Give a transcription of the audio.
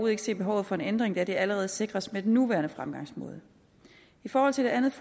ikke se behovet for en ændring da det allerede sikres med den nuværende fremgangsmåde i forhold til det andet